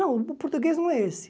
Não, o português não é esse.